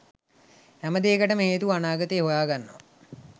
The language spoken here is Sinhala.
හැම දේකටම හේතුව අනාගතේ හොයාගන්නව.